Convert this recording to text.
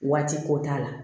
Waati ko t'a la